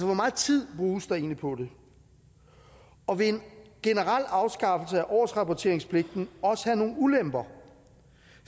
hvor meget tid bruges der egentlig på det og vil en generel afskaffelse af årsrapporteringspligten også have nogle ulemper